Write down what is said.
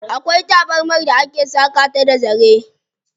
Akwai tabarmar da ake saƙa ta da zare.